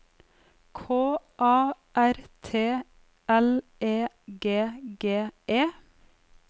K A R T L E G G E